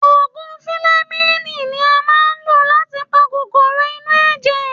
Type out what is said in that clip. Òògùn filẹmíìnì ni a máa ń lò láti pa kòkòrò inú ẹ̀jẹ̀.